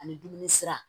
Ani dumuni sira